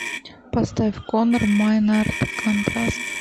поставь конор майнард контраст